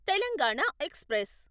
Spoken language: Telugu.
తెలంగాణ ఎక్స్ప్రెస్